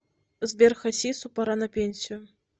сбер хасису пора на пенсию